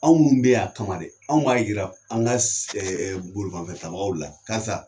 Anw minnu be yan, a kama dɛ, an m'a yira, an ka bolimanfɛntabagaw la karisa